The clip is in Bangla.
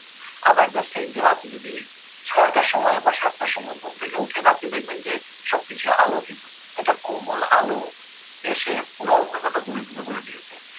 আবার at the same time আপনি যদি ছয়টার সময় বা সাতটার সময় ঘুম থেকে ওঠেন আপনি দেখবেন যে সব কিছুই আলোকিত একটা কোমল আলো এসে পুরা অন্ধকারটা দূরীভূত করে দিয়েছে